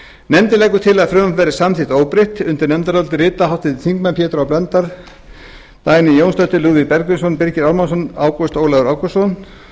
nefndin leggur til að frumvarpið verði samþykkt óbreytt undir nefndarálitið rita háttvirtir þingmenn pétur h blöndal dagný jónsdóttir lúðvík bergvinsson birgir ármannsson ágúst ólafur ágústsson